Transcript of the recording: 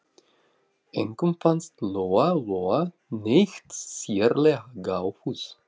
Engum fannst Lóa Lóa neitt sérlega gáfuð.